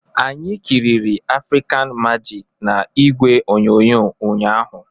Anyị kịrịrị African Majik na igwe onyonyo ụnyahụ